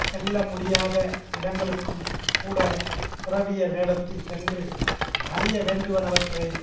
செல்ல முடியாத இடங்களுக்கும் கூட துறவியர் வேடத்தில் சென்று அறிய வேண்டுவனவற்றை